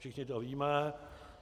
Všichni to víme.